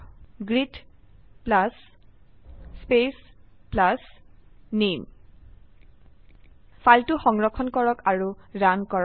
greet plus speech plus নামে ফাইলটো সংৰক্ষণ কৰক আৰু ৰান কৰক